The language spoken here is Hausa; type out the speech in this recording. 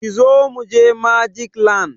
Kizo mu je Magic land!